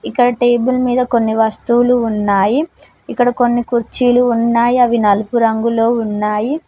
ఇక్కడ టేబుల్ మీద కొన్ని వస్తువులు ఉన్నాయి ఇక్కడ కొన్ని కుర్చీలు ఉన్నాయి అవి నలుపు రంగులో ఉన్నాయి.